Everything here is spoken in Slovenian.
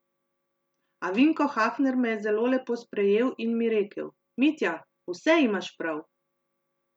A Vinko Hafner me je zelo lepo sprejel in mi rekel: 'Mitja, vse imaš prav!